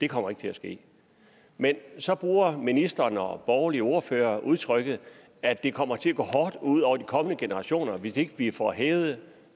kommer til at ske men så bruger ministeren og borgerlige ordførere udtrykket at det kommer til at gå hårdt ud over de kommende generationer hvis ikke vi får hævet